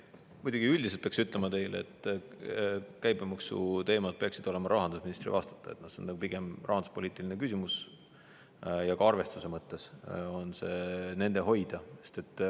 Muidugi üldiselt peaks ütlema, et käibemaksu teemad peaksid olema rahandusministri vastata, see on pigem rahanduspoliitiline küsimus, ja ka arvestuse mõttes on see nende hoida.